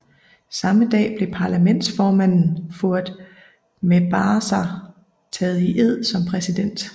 Samme dag blev parlamentsformanden Fouad Mebazaa taget i ed som præsident